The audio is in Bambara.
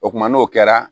O kumana n'o kɛra